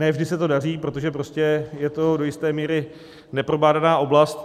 Ne vždy se to daří, protože prostě je to do jisté míry neprobádaná oblast.